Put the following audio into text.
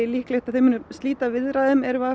líklegt að þau muni slíta viðræðum er við